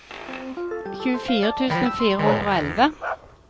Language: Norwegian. tjuefire tusen fire hundre og elleve